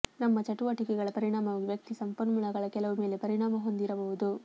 ತಮ್ಮ ಚಟುವಟಿಕೆಗಳ ಪರಿಣಾಮವಾಗಿ ವ್ಯಕ್ತಿ ಸಂಪನ್ಮೂಲಗಳ ಕೆಲವು ಮೇಲೆ ಪರಿಣಾಮ ಹೊಂದಿರಬಹುದು